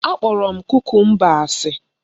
Akpọrọ m kukumba asị